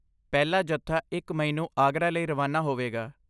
ਪਹਿਲਾ ਜੱਥਾ ਇਕ ਮਈ ਨੂੰ ਆਗਰਾ ਲਈ ਰਵਾਨਾ ਹੋਵੇਗਾ